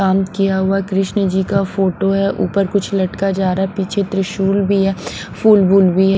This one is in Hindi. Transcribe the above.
काम किया हुआ कृष्ण जी का फोटो है ऊपर कुछ लटका जा रहा है पीछे त्रिशूल भी है फूल बूल भी है।